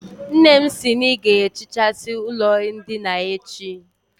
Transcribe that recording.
Nne m sI na I ga-ehichasi ulo ndina a echi